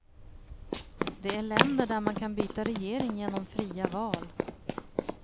De är länder där man kan byta regering genom fria val.